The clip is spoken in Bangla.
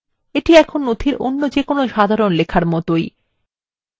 এটি নথিতে any যেকোনো সাধারণ লেখার মতই